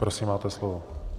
Prosím, máte slovo.